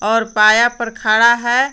और पाया पर खड़ा है।